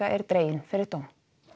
er dreginn fyrir dóm